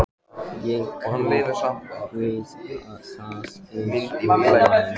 Ég kraup við það eins og væm